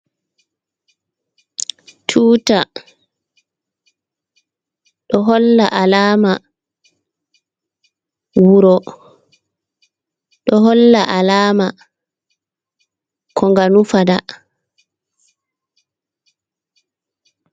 Tuta, ɗo holla alama wuro, ɗo holla alama ko nga nufa ta.